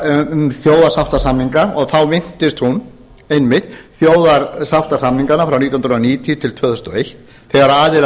um þjóðarsáttarsamninga og þá minntist hún einmitt þjóðarsáttarsamninganna frá nítján hundruð níutíu til tvö þúsund og eitt þegar aðilar